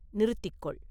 நிறுத்திக் கொள்!